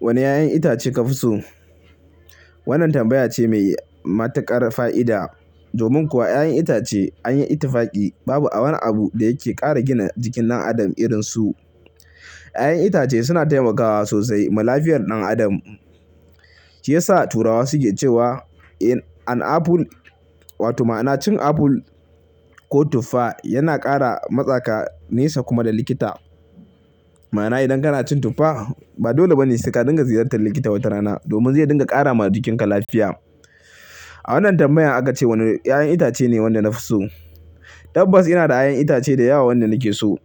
Wane 'ya'yan itace kafi so? Wannan tambaya ce mai matuƙar fa'ida. Domin kuwa 'ya'yan itace anyi ittafaƙi babu a wani abu da yake ƙara gina jikin ɗan adam irin su. 'Ya'yan itace suna taimakawa sosai ma lafiyar ɗan adam. Shiyasa turawa suke cewa "An apple" wato ma'ana cin apple ko tuffa yana ƙara matsa ka nesa kuma da likita. Ma'ana idan kana cin tuffa, ba dole bane sai ka dinga ziyartar likita wata rana domin zai dinga ƙara ma jikinka lafiya. A wannan tambayan aka ce wane 'ya'yan itace ne wanda nafi so. Tabbas ina da 'ya'yan itace da yawa wanda nake so.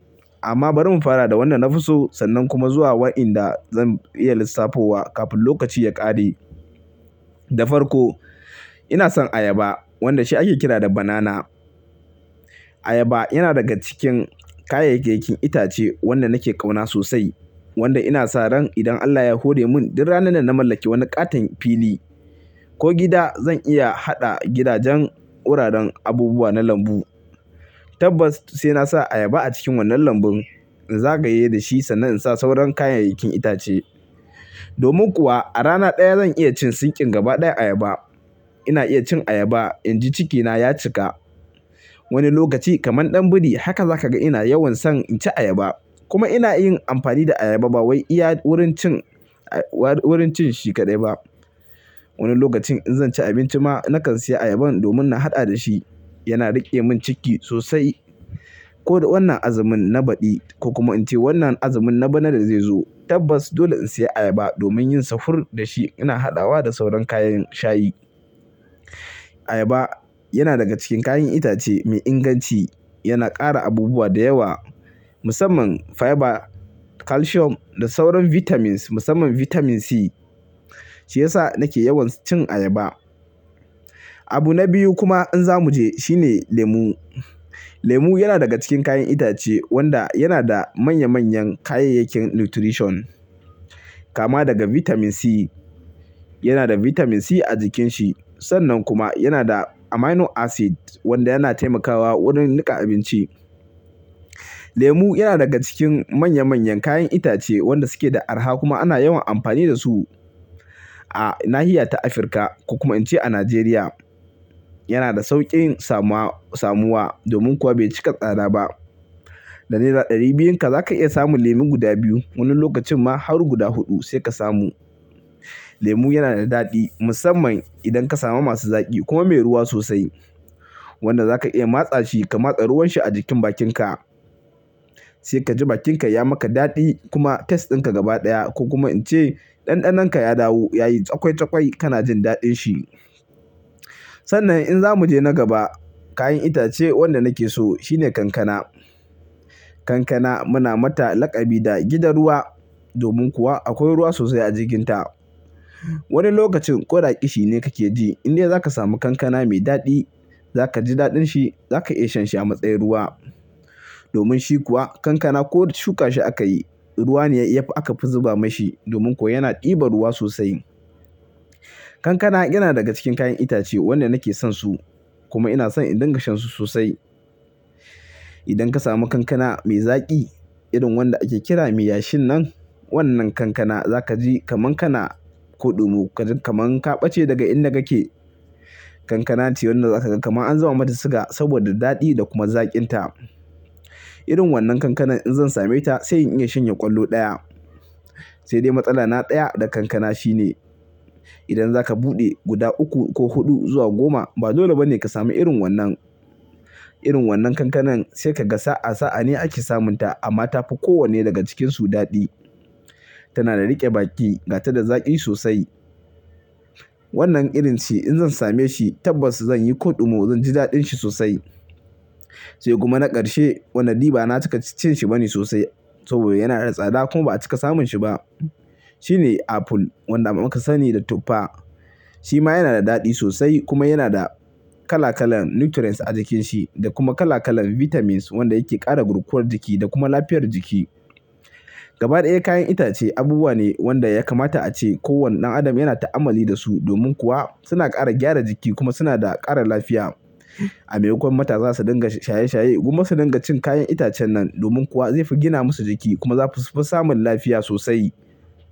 Amma bari in fara da wanda nafi so, sannan kuma zuwa wa'inda zan iya lissafowa kafin lokaci ya ƙare. Da farko ina san ayaba wanda shi ake kira da banana. Ayaba yana daga cikin kayayyakin itace wanda nake ƙauna sosai. Wanda ina sa ran idan Allah ya hore mun, duk ranar da na mallaki wani ƙaton fili ko gida zan iya haɗa gidajen wuraren abubuwa na lambu. Tabbas sai na sa ayaba a cikin wannan lambun in zagaye dashi sannan in sa sauran kayayyakin itace. Domin kuwa a rana ɗaya zan iya cin sinkin gaba ɗaya ayaba. Ina iya cin ayaba inji cikina ya cika. Wani lokaci kamar ɗan biri haka za ka ga ina yawan son inci ayaba. Kuma ina yin amfani da ayaba ba wai iya wurin cin-- wurin cin shi kaɗai ba. Wani lokacin in zanci abinci ma nakan siya ayaban domin na haɗa da shi. Yana riƙe mun ciki sosai. Ko da wannan azumin na baɗi ko kuma in ce wannan azumin na bana da zai zo, tabbas dole in siya ayaba domin yin safur da shi ina haɗawa da sauran kayan shayi. Ayaba yana daga cikin kayan itace mai inganci. Yana ƙara abubuwa da yawa musamman fiber, calcium da sauran vitamins musamman vitamin C. Shiyasa nake yawan cin ayaba. Abu na biyu kuma in za muje shine lemu. Lemu yana daga cikin kayan itace wanda yana da manya manyan kayayyakin nutrition. Kama daga vitamin C. Yana da vitamin C a jikin shi. Sannan kuma yana da amino acid wanda yana taimakawa wurin niƙa abinci. Lemu yana daga cikin manya manyan kayan itace wanda suke da arha kuma ana yawan amfani da su a nahiya ta Afirka ko kuma ince a Najeriya. Yana da sauƙin samuwa domin kuwa bai cika tsada ba. Da naira ɗari biyun ka zaka iya samun lemu guda biyu. Wani lokacin ma har guda huɗu sai ka samu. Lemu yana da daɗi musamman idan ka samu masu zaƙi kuma mai ruwa sosai. Wanda zaka iya matsa shi ka matsa ruwan shi a jikin bakinka. Sai kaji bakinka ya maka daɗi kuma taste din ka gaba ɗaya ko kuma in ce ɗanɗanon ka ya dawo yayi cakwai cakwai kana jindaɗin shi. Sannan in zamu je na gaba, kayan itace wanda nake so shine kankana. Kankana muna mata laƙabi da gidan ruwa domin kuwa akwai ruwa sosai a jikin ta. Wani lokacin koɗa ƙishi ne kake ji indai zaka samu kankana mai daɗi, za kaji daɗin shi, za ka iya shan shi a matsayin ruwa. Domin shi kuwa kankana ko shuka shi aka yi, ruwa ne yayi aka fi zuba mashi domin kuwa yana ɗibar ruwa sosai. Kankana yana daga cikin kayan itace wanda nake son su kuma ina son in dinga shan su sosai. Idan ka samu kankana mai zaƙi irin wanda ake kira mai yashin nan, wannan kankana za kaji kaman kana koɗumo kaman ka ɓace daga inda kake. Kankana ce wanda za kaga kaman an zuba mata siga saboda daɗi da kuma zaƙin ta. Irin wannan kankanan in zan same ta sai in iya shanye ƙwallo ɗaya. Sai dai matsala na ɗaya da kankana shine idan zaka buɗe guda uku ko huɗu zuwa goma ba dole ba ne ka sami irin wannan. Irin wannan kankanan sai kaga sa'a sa'a ne ake samun ta amma tafi kowanne daga cikin su daɗi. Tana da riƙe baki, gata da zaƙi sosai. Wannan irin ce in zan same shi tabbas zan yi koɗumo zan ji daɗin shi sosai. Sai kuma na ƙarshe wannan ɗiba na cika cin shi bane sosai saboda yana da tsada kuma ba'a cika samun shi ba. Shine apple wanda muka sani da tuffa. Shi ma yana da daɗi sosai kuma yana da kala kalan nutrients a jikin shi da kuma kala kalan vitamins wanda yake ƙara gurkuwar jiki da kuma lafiyar jiki. Gaba ɗaya kayan itace abubuwa ne wanda ya kamata ace ko wane ɗan adam yana ta'amali da su domin kuwa suna ƙara gyara jiki kuma suna da ƙara lafiya. A maimakon matasa su dinga shaye shaye gomma su dinga cin kayan itacen nan domin kuwa zai fi gina musu jiki kuma za su fi samun lafiya sosai.